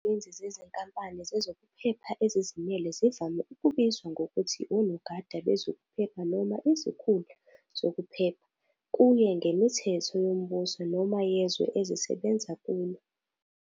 Izisebenzi zezinkampani zezokuphepha ezizimele zivame ukubizwa ngokuthi "onogada bezokuphepha" noma "izikhulu zokuphepha", kuye ngemithetho yombuso noma yezwe ezisebenza kulo.